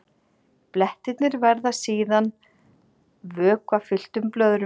Blettirnir verða síðan vökvafylltum blöðrum.